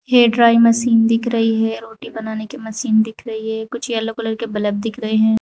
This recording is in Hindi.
एक ड्राई मशीन दिख रही है रोटी बनाने की मशीन दिख रही है कुछ येलो कलर बल्ब दिख रहे हैं।